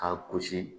K'a gosi